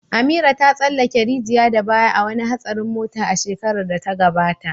Amira ta tsallake rijiya da baya a wani hatsarin mota a shekarar da ta gabata.